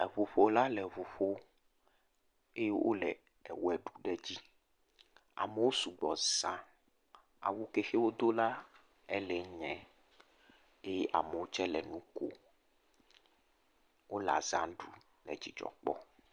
Eʋuƒola le eʋu ƒom eye wole ewɔe ɖum ɖe edzi. Amewo su gbɔ zã. Awu ke xe wodo la , ele nyae eye amewo tsɛ le nu kom. Wole aza ɖum le dzɔdzɔ kpɔm.